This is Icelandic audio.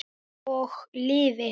Og lifir.